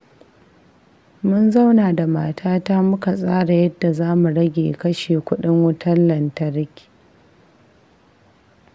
Mun zauna da matata muka tsara yadda za mu rage kashe kudin wutar lantarki.